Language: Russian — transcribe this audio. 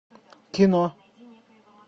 кино